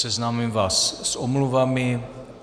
Seznámím vás s omluvami.